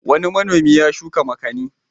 Wani manomi ya shuka makani.